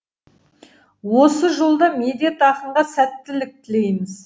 осы жолда медет ақынға сәттілік тілейміз